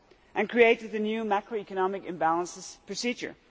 and created a new macroeconomic imbalances procedure.